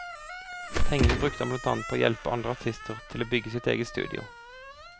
Pengene brukte han blant annet til å hjelpe andre artister og til å bygge sitt eget studio.